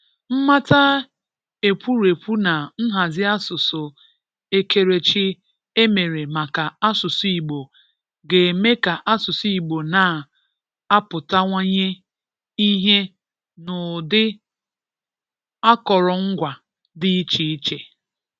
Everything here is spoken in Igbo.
Mmata ekwurekwu na nhazi asụsụ ekerechi e mere maka asụsụ Igbo ga-eme ka asụsụ Igbo na-apụtawanye ihe n'ụdị akọrọngwa dị iche-iche.